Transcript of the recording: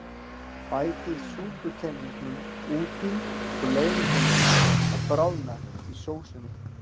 Bætið súputeningnum út í og leyfið honum að bráðna í sósunni.